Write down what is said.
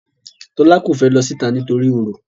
Tola ko fè ló síta nítorí oro.